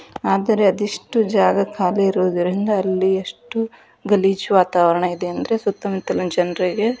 ಆದರೆ ಅದೆಷ್ಟು ಜಾಗ ಖಾಲಿ ಇರೋದರಿಂದ ಅಲ್ಲಿ ಎಷ್ಟು ಗಲೀಜು ವಾತಾವರಣ ಇದೆ ಅಂದ್ರೆ ಸುತ್ತಮುತ್ತಲಿನ ಜನರಿಗೆ --